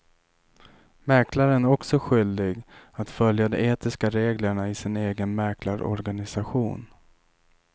Mäklaren är också skyldig att följa de etiska reglerna i sin egen mäklarorganisation.